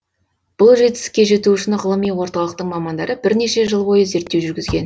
бұл жетістікке жету үшін ғылыми орталықтың мамандары бірнеше жыл бойы зерттеу жүргізген